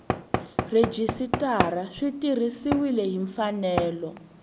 rhejisitara swi tirhisiwile hi mfanelo